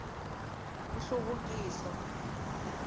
nhluvukiso